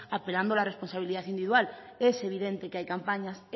apelando la responsabilidad individual es evidente que hay campañas